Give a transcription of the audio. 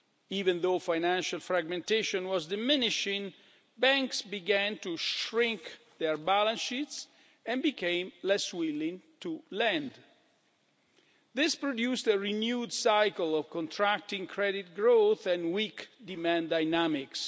Even though financial fragmentation was diminishing, banks began to shrink their balance sheets and became less willing to lend. This produced a renewed cycle of contracting credit growth and weak demand dynamics.